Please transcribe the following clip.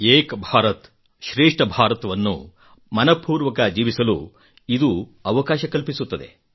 ಏಕ್ ಭಾರತ್ ಶ್ರೇಷ್ಠ ಭಾರತ್ ವನ್ನು ಮನಃಪೂರ್ವಕ ಜೀವಿಸಲು ಇದು ಅವಕಾಶ ಕಲ್ಪಿಸುತ್ತದೆ